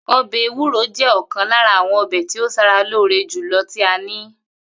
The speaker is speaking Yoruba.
O̩bè̩ ewú̩ro jé̩ ò̩kan lára àwo̩n o̩bè̩ tí ó s̩ara lóore jù lo tí a ní